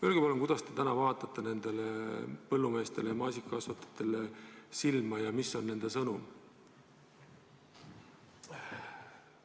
Öelge palun, kuidas te täna vaatate maasikakasvatajatele ja teistele põllumeestele silma ja mis on teie sõnum neile?